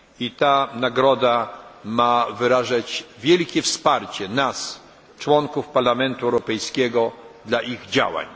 Ta nagroda ma wyrażać wielkie wsparcie nas członków Parlamentu Europejskiego dla ich działań.